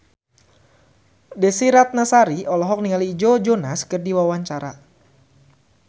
Desy Ratnasari olohok ningali Joe Jonas keur diwawancara